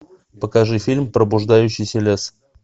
покажи фильм пробуждающийся лес